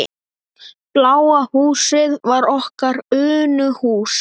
Bláa húsið var okkar Unuhús.